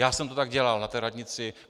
Já jsem to tak dělal na té radnici.